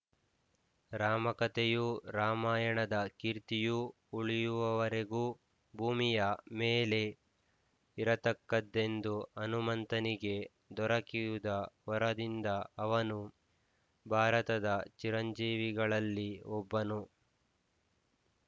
ರಾಮಕಥೆಯೂ ರಾಮಾಯಣದ ಕೀರ್ತಿಯೂ ಉಳಿಯುವವರೆಗೂ ಭೂಮಿಯ ಮೇಲೆ ಇರತಕ್ಕದ್ದೆಂದು ಹನುಮಂತನಿಗೆ ದೊರಕಿದ ವರದಿಂದ ಅವನು ಭಾರತದ ಚಿರಂಜೀವಿಗಳಲ್ಲಿ ಒಬ್ಬನು